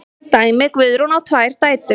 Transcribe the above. Dæmi: Guðrún á tvær dætur.